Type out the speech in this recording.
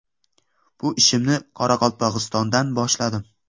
Bu ishimni Qoraqalpog‘istondan boshladim.